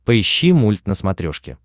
поищи мульт на смотрешке